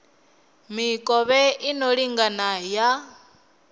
mikovhe i no lingana ya